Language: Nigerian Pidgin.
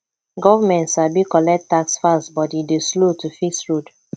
government sabi collect tax fast but e dey slow to fix road